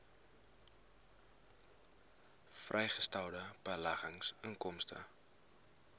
vrygestelde beleggingsinkomste